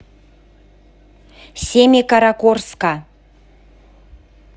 семикаракорска